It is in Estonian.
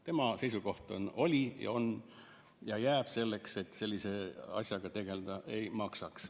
Tema seisukoht oli ja on ja jääb selleks, et sellise asjaga tegeleda ei maksa.